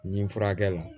N ye furakɛ la